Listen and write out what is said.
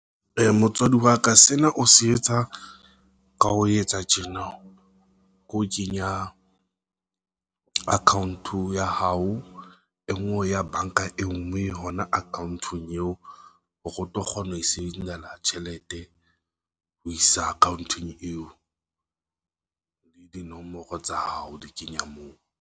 Motswadi wa ka sena o se etsa ka ho etsa tjena ke ho kenya account o ya hao e nngwe o ya banka e nngwe, mme hona account-ong eo hore o tlo kgona ho e tjhelete ho isa account-ong eo le dinomoro tsa hao di kenya moo.